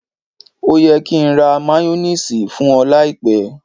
Ó yẹ kí n ra máyónísiìsì fún ọ láìpẹ́.